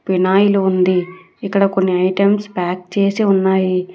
Phenyl ఉంది ఇక్కడ కొన్ని ఐటమ్స్ ప్యాక్ చేసి ఉన్నాయి.